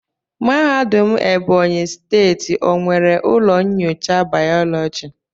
Mahadum ebonyi steeti o nwere ụlọ nyocha biology?